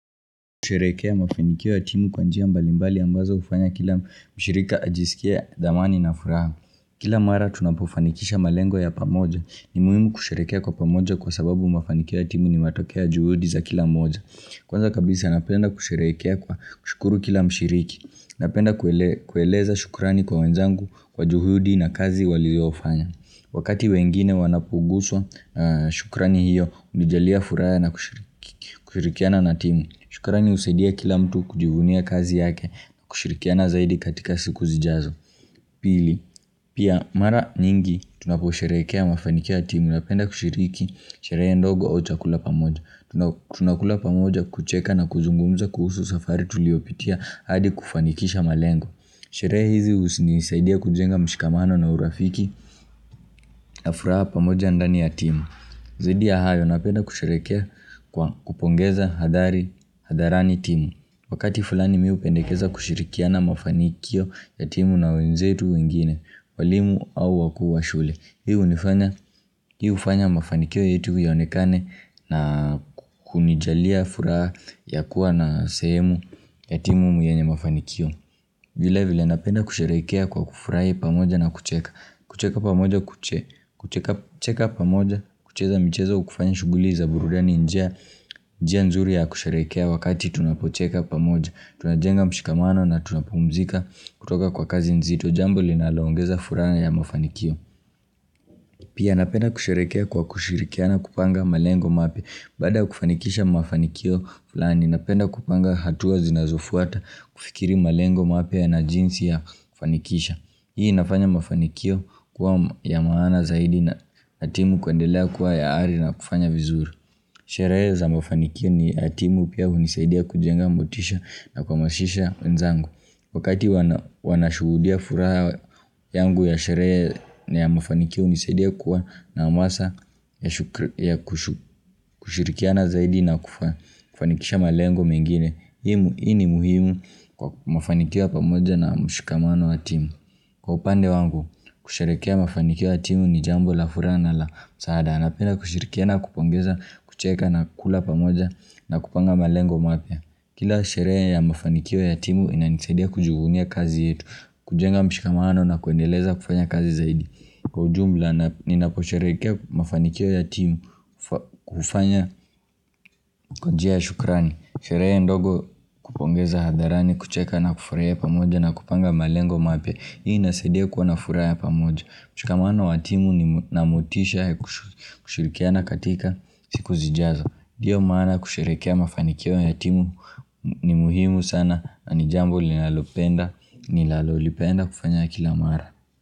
Kusherekea mafanikio ya timu kwa njia mbalimbali ambazo hufanya kila mshirika ajisikie dhamani na furaha Kila mara tunapofanikisha malengo ya pamoja ni muhimu kusherekea kwa pamoja kwa sababu mafanikio ya timu ni matokea juhudi za kila mmoja Kwanza kabisa napenda kusherehekea kwa kushukuru kila mshiriki Napenda kueleza shukurani kwa wenzangu kwa juhudi na kazi waliofanya Wakati wengine wanapuguswa na shukurani hiyo Nijalia furaha na kushirikiana na timu shukurani husaidia kila mtu kujivunia kazi yake na kushirikiana zaidi katika siku zijazo Pili, pia mara nyingi tunaposherekea mafanikio ya timu unapenda kushiriki, sherehe ndogo au chakula pamoja tunakula pamoja kucheka na kuzungumza kuhusu safari tulio pitia hadi kufanikisha malengo Sherehe hizi hunisaidia kujenga mshikamano na urafiki na furaha pamoja ndani ya timu Zidi ya hayo napenda kusherehekea kwa kupongeza hadhari hadharani timu Wakati fulani miu pendekeza kushirikiana mafanikio ya timu na wenzetu wengine walimu au wakuu wa shule Hii hufanya mafanikio yetu yaonekane na kunijalia furaha ya kuwa na sehemu ya timu yenye mafanikio. Vile vile napenda kusherehekea kwa kufurai pamoja na kucheka kucheka pamoja kucheza michezo au kufanya shuguli za burudani njia njia nzuri ya kusherehekea wakati tunapocheka pamoja Tunajenga mshikamano na tunapumzika kutoka kwa kazi nzito Jambo linaloongeza furana ya mafanikio Pia napenda kusherekea kwa kushirikiana kupanga malengo mapya Baada ya kufanikisha mafanikio fulani Napenda kupanga hatua zinazofuata kufikiri malengo mapya na jinsi ya kufanikisha Hii nafanya mafanikio kuwa ya maana zaidi na timu kuendelea kuwa ya ari na kufanya vizuri Sherehe za mafanikio ni hatimu pia hunisaidia kujenga motisha na kuhamasisha wenzangu Wakati wanashuhudia furaha yangu ya sherehe na ya mafanikio hunisaidia kuwa na hamwasa ya ya kushirikiana zaidi na kufanikisha malengo mengine Hii ni muhimu kwa mafanikio pamoja na mshikamano hatimu Kwa upande wangu kushirikia mafanikio ya timu ni jambo la furaha na la msaada napenda kushirikiana kupongeza, kucheka na kula pamoja na kupanga malengo mapya Kila sherehe ya mafanikio ya timu ina nisadia kujivunia kazi yetu kujenga mshikamano na kuendeleza kufanya kazi zaidi Kwa ujumla na ninaposherehekea mafanikio ya timu hufanya kwa njia ya shukrani Sherehe ndogo kupongeza hadharani, kucheka na kufurahia pamoja na kupanga malengo mapya Hii inasadia kuwana furaha ya pamoja mshikamano watimu ni namotisha kushirikiana katika siku zijazo ndio maana kusherehekea mafanikio ya timu ni muhimu sana na nijambo ninalolipenda kufanya kilamara.